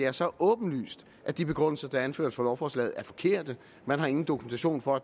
er så åbenlyst at de begrundelser der er anført for lovforslaget er forkerte man har ingen dokumentation for